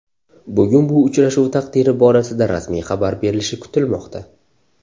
Bugun bu uchrashuv taqdiri borasida rasmiy xabar berilishi kutilmoqda.